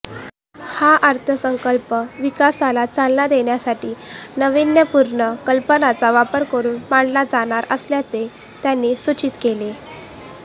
हा अर्थसंकल्प विकासाला चालना देण्यासाठी नावीन्यपूर्ण कल्पनांचा वापर करून मांडला जाणार असल्याचे त्यांनी सूचित केले